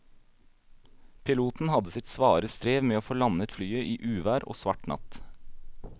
Piloten hadde sitt svare strev med å få landet flyet i uvær og svart natt.